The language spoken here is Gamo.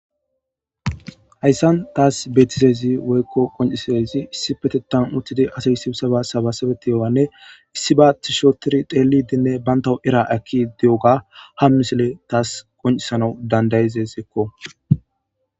Hayssan taas beetizezi woykko qoncisezi issi petetan uttidi asayssisaba sabasabeti yowanne issi baati shotiri xeelidinne banta era akki di'oga hammisile taas qoncisanau dandayizezeekko.